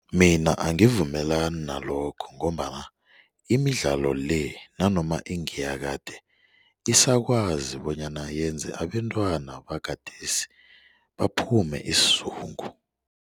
Mina angivumelani nalokho ngombana imidlalo le nanoma ingeyakade isakwazi bonyana yenze abentwana bagadesi baphume isizungu.